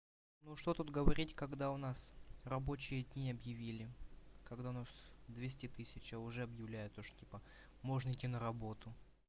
ну что тут говорить когда у нас рабочие дни объявили когда нас двести тысяч а уже объявляют то что типа можно идти на работу